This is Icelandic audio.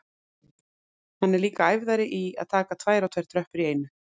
Hann er líka æfðari í að taka tvær og tvær tröppur í einu.